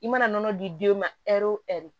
I mana nɔnɔ di den ma ɛri o ɛri